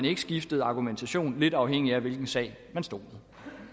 ikke skiftede argumentation lidt afhængig af hvilken sag man stod